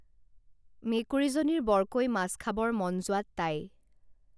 মেকুৰীজনীৰ বৰকৈ মাছ খাবৰ মন যোৱাত তাই